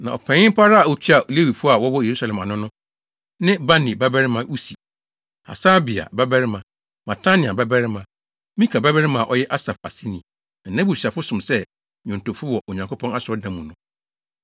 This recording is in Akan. Na ɔpanyin pa ara a otua Lewifo a wɔwɔ Yerusalem ano no ne Bani babarima Usi, Hasabia babarima, Matania babarima, Mika babarima a ɔyɛ Asaf aseni, na nʼabusuafo som sɛ nnwontofo wɔ Onyankopɔn asɔredan mu no.